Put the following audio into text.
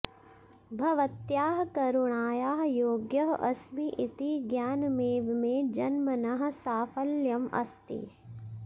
भवत्याः करुणायाः योग्यः अस्मि इति ज्ञानमेव मे जन्मनः साफल्यम् अस्ति